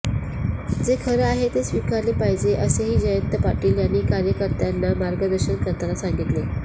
जे खरं आहे ते स्वीकारले पाहिजे असेही जयंत पाटील यांनी कार्यकर्त्यांना मार्गदर्शन करताना सांगितले